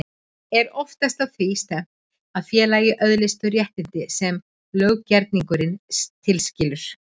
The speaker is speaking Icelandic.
Er oftast að því stefnt að félagið öðlist þau réttindi sem löggerningurinn tilskilur.